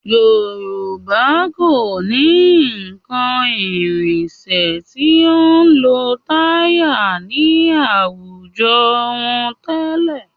Yorùbá kò ní nǹkan ìrìnsẹ̀ tí ó lo táyà ní àwùjọ wọn tẹ́lẹ̀